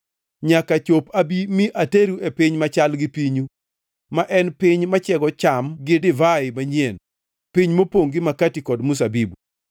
nyaka chop abi mi ateru e piny machal gi pinyu, ma en piny machiego cham gi divai manyien, piny mopongʼ gi makati kod mzabibu.